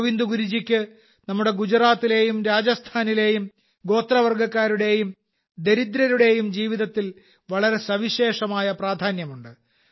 ഗോവിന്ദ് ഗുരുജിക്ക് നമ്മുടെ ഗുജറാത്തിലെയും രാജസ്ഥാനിലെയും ഗോത്രവർഗക്കാരുടെയും ദരിദ്രരുടെയും ജീവിതത്തിൽ വളരെ സവിശേഷമായ പ്രാധാന്യമുണ്ട്